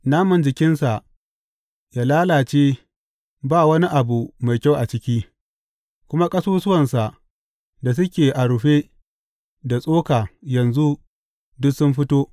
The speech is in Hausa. Naman jikinsa ya lalace ba wani abu mai kyau a ciki kuma ƙasusuwansa da suke a rufe da tsoka yanzu duk sun fito.